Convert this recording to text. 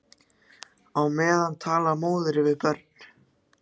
Á meðan talar móðir við börn.